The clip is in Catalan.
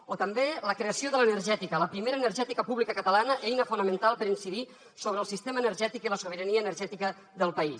o també la creació de l’energètica la primera energètica pública catalana eina fonamental per incidir sobre el sistema energètic i la sobirania energètica del país